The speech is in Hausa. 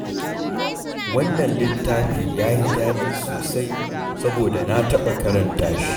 Wannan littaffi ya yi daɗi sosai, saboda na taɓa karanta shi.